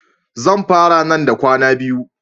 Zan fara nan da kwana biyu.